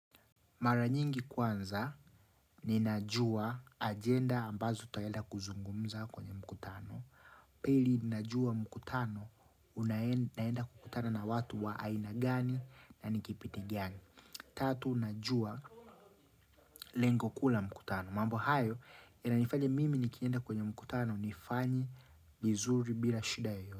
Mara nyingi kwanza, ninajua ajenda ambazo tutaenda kuzungumza kwenye mkutano. Pili ninajua mkutano, naenda kukutana na watu wa aina gani na ni kibindi gani. Tatu, unajua lengo kuu la mkutano. Mambo hayo, inanifanya mimi nikienda kwenye mkutano, nifanye vizuri bila shida yeyoyote.